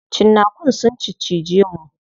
Cinnakun sun ciccije mu.